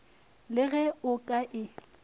le ge o ka e